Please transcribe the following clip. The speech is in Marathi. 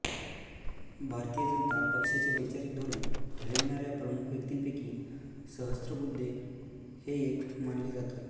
भारतीय जनता पक्षाचे वैचारिक धोरण ठरविणाऱ्या प्रमुख व्यक्तींपैकी सहस्रबुद्धे हे एक मानले जातात